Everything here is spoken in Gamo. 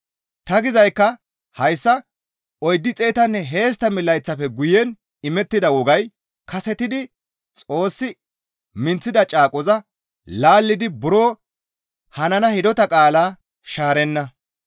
Ta gizaykka hayssa; 430 layththafe guyen imettida wogay kasetidi Xoossi minththida caaqoza laallidi buro hanana hidota qaalaa shaarenna.